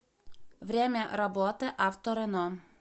время работы авто рено